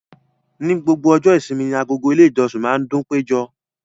Ní gbogbo ọjọ́ ìṣími ní agọ̀gọ̀ ilẹ̀ ìjọ̀ṣìn ma ndunpẹ̀jọ.